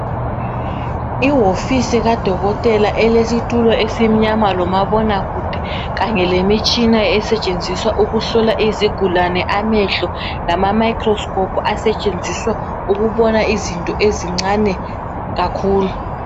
Iwofisi kadokotela elesitulo esimnyama lomabonakude kanye lemitshina esetshenziswa ukuhlola izigulane amehlo lama microscope asetshenziswa ukubona izinto ezincane kakhulu.